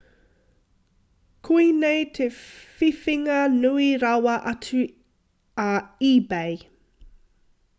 koinei te whiwhinga nui rawa atu a ebay